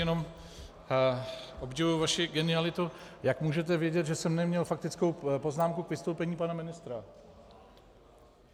Jenom obdivuji vaši genialitu: Jak můžete vědět, že jsem neměl faktickou poznámku k vystoupení pana ministra?